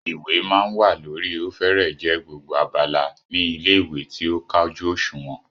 Ìwé máa ń wà lórí ó fẹ́rẹ́ẹ̀ jẹ́ gbogbo abala ní ilé-ìwé tí ó kájú òṣùnwọ̀n.